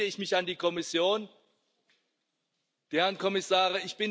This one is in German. Deswegen wende ich mich an die Kommission, die Herren Kommissare.